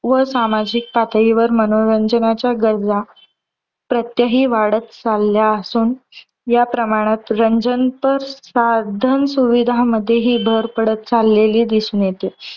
व सामाजिक पातळीवर मनोरंजनाच्या गरजा प्रत्येकी वाढत चालल्या असून. या प्रमाणात रंजनपर साधन सुविधामध्येही भर पडत चाललेली दिसून येते.